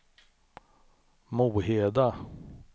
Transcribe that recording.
Moheda